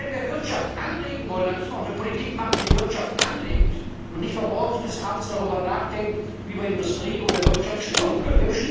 Wenn wir die Wirtschaft beleben wollen, dann müssen wir auch eine Politik machen, die Wirtschaft anregt und nicht von morgens bis abends darüber nachdenkt, wie man Industrie oder Wirtschaft stören kann.